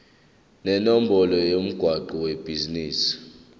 nenombolo yomgwaqo webhizinisi